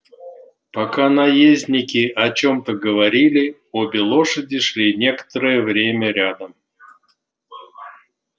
пока наездники о чем-то говорили обе лошади шли некоторое время рядом